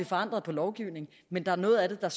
forandret lovgivningen men der er noget af det der